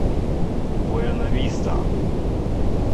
буэнависта